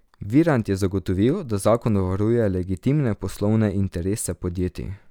Virant je zagotovil, da zakon varuje legitimne poslovne interese podjetij.